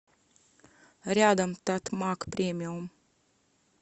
рядом татмак премиум